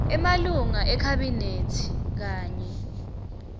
emalunga ekhabhinethi kanye